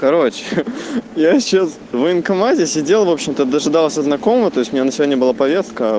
короче я сейчас в военкомате сидел в общем-то дожидался знакомого то есть у него на сегодня была повестка